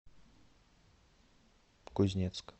кузнецк